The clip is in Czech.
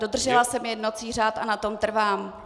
Dodržela jsem jednací řád a na tom trvám.